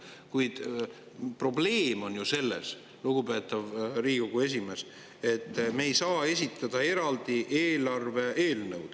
Kuid probleem on ju selles, lugupeetav Riigikogu esimees, et me ei saa esitada eraldi eelarve eelnõu.